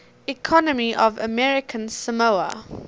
economy of american samoa